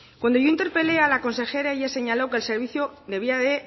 cuando yo interpelé a la consejera ya señaló que el servicio debiera de